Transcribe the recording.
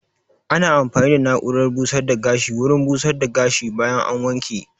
Ana amfani da na'urar busar da gashi wurin busar da gashi bayan an wanke